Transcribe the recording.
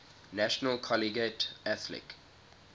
national collegiate athletic